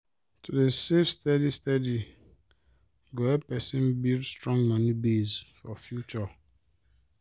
to dey save steady steady go help person build strong moni base for future